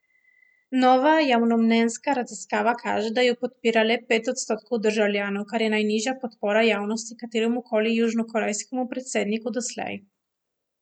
Nova javnomnenjska raziskava kaže, da jo podpira le pet odstotkov državljanov, kar je najnižja podpora javnosti kateremu koli južnokorejskemu predsedniku doslej.